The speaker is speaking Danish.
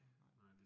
Nej